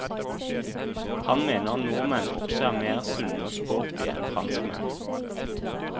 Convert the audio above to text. Han mener nordmenn også er mer sunne og sporty enn franskmenn.